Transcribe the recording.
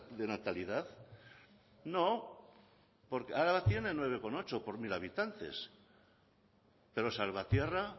de natalidad no porque araba tiene nueve coma ocho por mil habitantes pero salvatierra